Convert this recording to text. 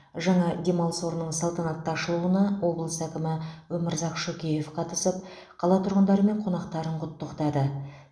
жаңа демалыс орнының салтанатты ашылуына облыс әкімі өмірзақ шөкеев қатысып қала тұрғындары мен қонақтарын құттықтады